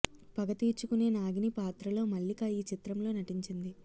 పగ తీర్చుకునే నాగిని పాత్రలో మల్లిక ఈ చిత్రంలో నటించింది